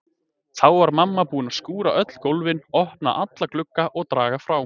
Þá var mamma búin að skúra öll gólfin, opna alla glugga og draga frá.